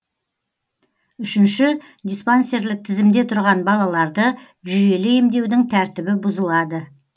үшінші диспансерлік тізімде тұрған балаларды жүйелі емдеудің тәртібі бұзылады